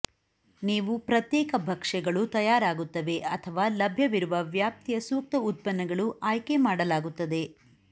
ನೀವು ಪ್ರತ್ಯೇಕ ಭಕ್ಷ್ಯಗಳು ತಯಾರಾಗುತ್ತವೆ ಅಥವಾ ಲಭ್ಯವಿರುವ ವ್ಯಾಪ್ತಿಯ ಸೂಕ್ತ ಉತ್ಪನ್ನಗಳು ಆಯ್ಕೆ ಮಾಡಲಾಗುತ್ತದೆ